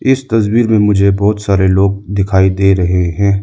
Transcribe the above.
इस तस्वीर में मुझे बहोत सारे लोग दिखाई दे रहे हैं।